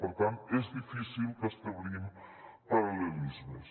per tant és difícil que establim paral·lelismes